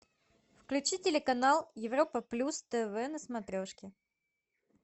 включи телеканал европа плюс тв на смотрешке